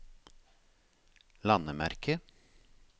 landemerke